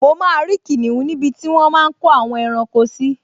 Mo máa rí kìnìún níbi tí wọ́n máa n kó àwọn ẹranko sí